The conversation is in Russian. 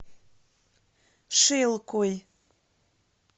шилкой